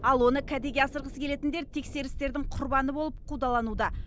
ал оны кәдеге асырғысы келетіндер тексерістердің құрбаны болып қудалануда